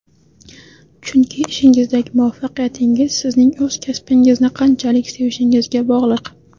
Chunki, ishingizdagi muvaffaqiyatingiz sizning o‘z kasbingizni qanchalik sevishingizga bog‘liq.